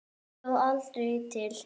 Og stóð aldrei til.